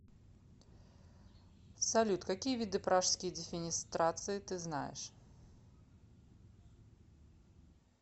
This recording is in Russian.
салют какие виды пражские дефенестрации ты знаешь